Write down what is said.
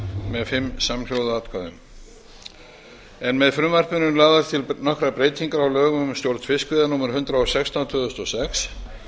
með fimm síld atkvæðum með frumvarpinu eru lagðar til nokkrar breytingar á lögum um stjórn fiskveiða númer hundrað og sextán tvö þúsund og sex